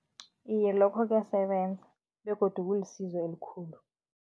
Iye, lokho kuyasebenza begodu kulisizo elikhulu.